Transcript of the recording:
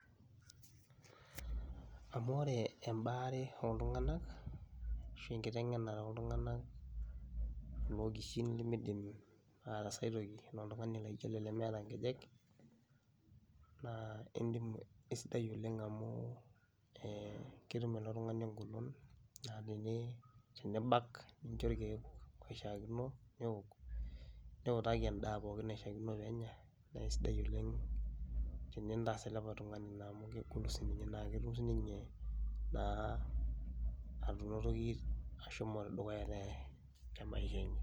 Amu ore embaare oltung'anak ashu engitengena oltunganak kulo okishin limidim ataasa toki tenaa oltung'ani laijo ele lemeeta inkejek naa entoki aisidai oleng amu ketum ilo tung'ani engolon naa tenibak nincho ilkiek loishaakino ninjo ilkiek newok niutaki en'daa pookin naishaakino peenya naisidai oleng tenintaas ele tungani naa amu kegolu naa ketum siininye naa atutumoki ashomo dukuya temaisha enye